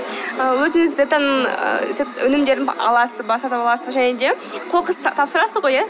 ы өзіңіз өнімдерін аласыз ба сатып аласыз ба және де қоқысты тапсырасыз ғой иә